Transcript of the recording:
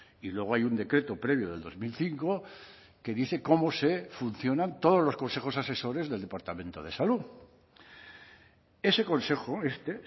y luego hay un decreto previo del dos mil cinco que dice cómo se funcionan todos los consejos asesores del departamento de salud ese consejo este